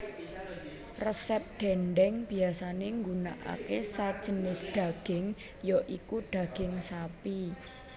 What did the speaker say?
Resep dhèndhèng biyasané nggunakake sajinis dhaging ya iku dhaging sapi